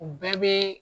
U bɛɛ bɛ